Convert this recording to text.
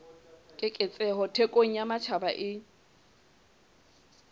keketseho thekong ya matjhaba e